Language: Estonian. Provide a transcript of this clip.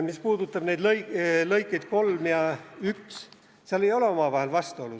Mis puudutab neid lõikeid 3 ja 1, siis seal ei ole omavahel vastuolu.